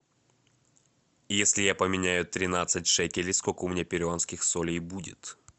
если я поменяю тринадцать шекелей сколько у меня перуанских солей будет